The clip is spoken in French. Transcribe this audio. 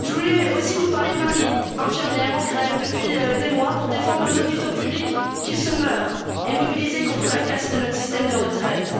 Je voulais aussi vous parler de Marie, infirmière en grève depuis des mois pour défendre nos hôpitaux publics qui se meurent et mobilisée contre la casse de notre système de retraite.